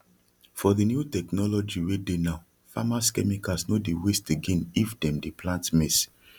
for the new technology wey dey now farmers chemicals no dey waste againif dem dey plant maize